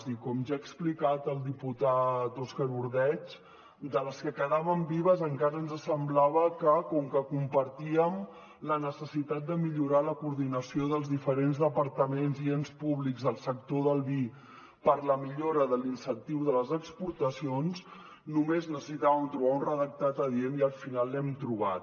i com ja ha explicat el diputat òscar ordeig de les que quedaven vives encara ens semblava que compartíem la necessitat de millorar la coordinació dels diferents departaments i ens públics al sector del vi per a la millora de l’incentiu de les exportacions només necessitàvem trobar un redactat adient i al final l’hem trobat